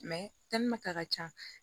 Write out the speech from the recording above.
ka ca